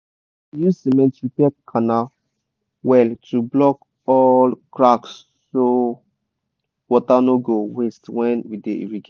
dem dey use cement repair canal well to block all cracksso water no go waste when we dey irrigate